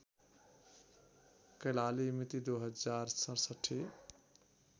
कैलाली मिति २०६७